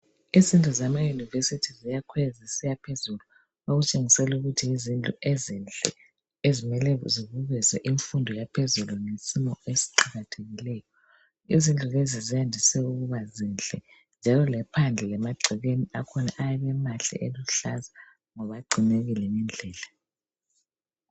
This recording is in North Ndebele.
Izindlu zemayunivesithi ziyakhwela zisiya phezulu okutshengisela ukuthi yizindlu ezinhle okumele ukuthi imfundo yaphezulu ngesimo eziqakathekileyo. Izindlu lezi zandise ukuba zinhle njalo lephandle emagcekeni akhona ayabe emahle eluhlaza ngoba agcinekile ngendlela.